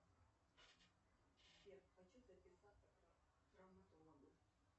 сбер хочу записаться к травматологу